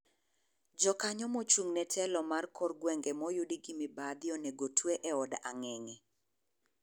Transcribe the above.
Jokanyo mochung' ne telo mar kor gweng'e moyudi gi mibadhi onego otwe e od ang'eng'e.